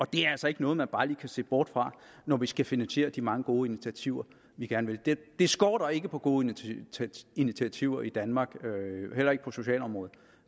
det er altså ikke noget man bare lige kan se bort fra når vi skal finansiere de mange gode initiativer vi gerne vil det skorter ikke på gode initiativer i danmark heller ikke på socialområdet